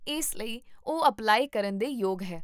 ਇਸ ਲਈ, ਉਹ ਅਪਲਾਈ ਕਰਨ ਦੇ ਯੋਗ ਹੈ